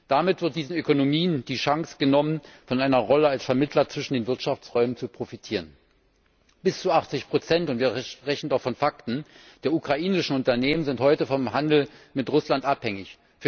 Damit wird diesen Ökonomien die Chance genommen, von einer Rolle als Vermittler zwischen den Wirtschaftsräumen zu profitieren. Bis zu 80 wir sprechen hier von Fakten der ukrainischen Unternehmen sind heute vom Handel mit Russland abhängig.